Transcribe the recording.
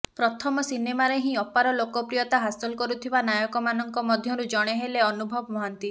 ପ୍ରଥମ ସିନେମାରେ ହିଁ ଅପାର ଲୋକପ୍ରିୟତା ହାସଲ କରୁଥିବା ନାୟକମାନଙ୍କ ମଧ୍ୟରୁ ଜଣେ ହେଲେ ଅନୁଭବ ମହାନ୍ତି